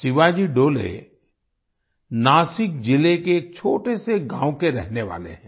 शिवाजी डोले नासिक जिले के एक छोटे से गाँव के रहने वाले हैं